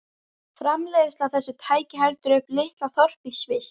Framleiðsla á þessu tæki heldur uppi litlu þorpi í Sviss.